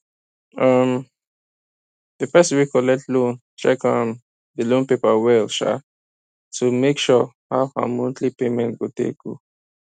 um the person wey collect loan check um the loan paper well um to make sure how her monthly payment go take go